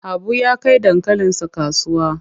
Habu ya kai dankalinsa kasuwa.